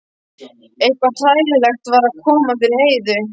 Eitthvað hræðilegt var að koma fyrir Heiðu.